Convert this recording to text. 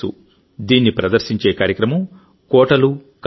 దీన్ని ప్రదర్శించే కార్యక్రమం కోటలుకథలు